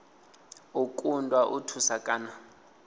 u kundwa u thusa kana